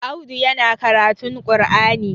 Audu yana karatun qur'ani